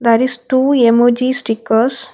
There is two emojI stickers.